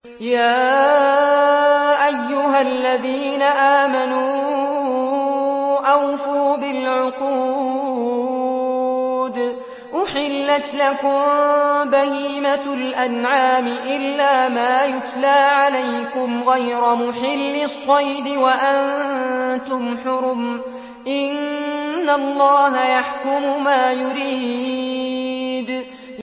يَا أَيُّهَا الَّذِينَ آمَنُوا أَوْفُوا بِالْعُقُودِ ۚ أُحِلَّتْ لَكُم بَهِيمَةُ الْأَنْعَامِ إِلَّا مَا يُتْلَىٰ عَلَيْكُمْ غَيْرَ مُحِلِّي الصَّيْدِ وَأَنتُمْ حُرُمٌ ۗ إِنَّ اللَّهَ يَحْكُمُ مَا يُرِيدُ